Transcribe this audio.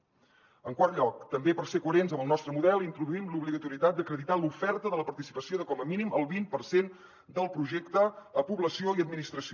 en quart lloc també per ser coherents amb el nostre model introduïm l’obligatorietat d’acreditar l’oferta de la participació de com a mínim el vint per cent del projecte a població i administració